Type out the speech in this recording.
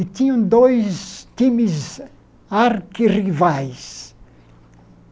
E tinham dois times arqui-rivais.